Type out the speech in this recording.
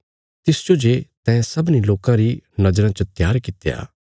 तिसजो जे तैं सारयां लोकां जो बचाणे खातर भेज्या